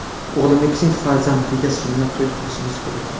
O‘g‘limning kichik farzandiga sunnat to‘y qilishimiz kerak.